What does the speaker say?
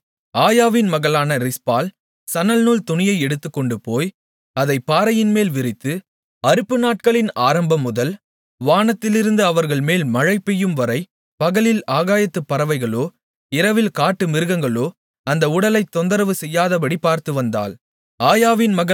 அப்பொழுது ஆயாவின் மகளான ரிஸ்பாள் சணல்நூல் துணியை எடுத்துக்கொண்டுபோய் அதைப் பாறையின்மேல் விரித்து அறுப்புநாட்களின் ஆரம்பம் முதல் வானத்திலிருந்து அவர்கள்மேல் மழைபெய்யும்வரை பகலில் ஆகாயத்துப் பறவைகளோ இரவில் காட்டுமிருகங்களோ அந்த உடல்களைத் தொந்தரவு செய்யாதபடி பார்த்துவந்தாள்